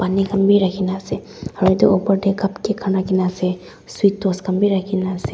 pani khan bhi rakhina ase aro etu opor dae cupcake khan rakhina ase sweet toast khan bhi rakhina ase.